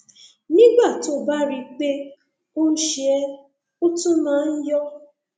nígbà tó o bá rí i pé o ń ṣe é ó tún máa ń yọ